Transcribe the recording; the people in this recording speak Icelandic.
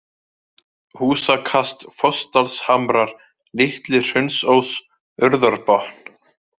Húsakast, Fossdalshamrar, Litli-Hraunsós, Urðarbotn